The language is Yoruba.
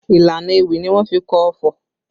Ìlànà ewì ni wọ́n fi kọ ọfọ̀